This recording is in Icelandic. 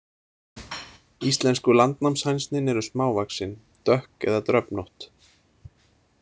Íslensku landnámshænsnin eru smávaxin, dökk eða dröfnótt.